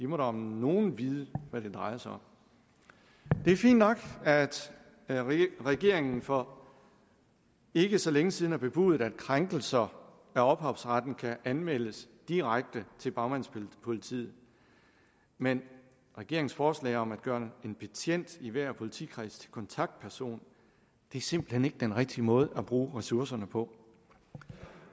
må da om nogen vide hvad det drejer sig om det er fint nok at regeringen for ikke så længe siden har bebudet at krænkelser af ophavsretten kan anmeldes direkte til bagmandspolitiet men regeringens forslag om at gøre en betjent i hver politikreds til kontaktperson er simpelt hen ikke den rigtige måde at bruge ressourcerne på